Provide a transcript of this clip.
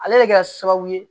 Ale le bɛ kɛ sababu ye